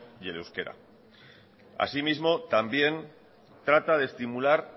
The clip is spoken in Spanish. y el euskera asimismo también trata de estimular